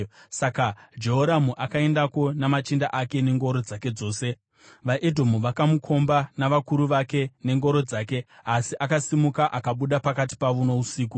Saka Jehoramu akaendako namachinda ake nengoro dzake dzose. VaEdhomu vakamukomba navakuru vake nengoro dzake asi akasimuka akabuda pakati pavo nousiku.